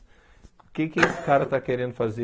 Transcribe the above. O que esse cara está querendo fazer?